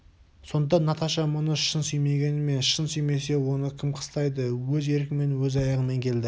сонда наташа мұны шын сүймегені ме шын сүймесе оны кім қыстайды өз еркімен өз аяғымен келді